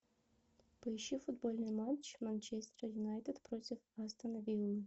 поищи футбольный матч манчестер юнайтед против астон виллы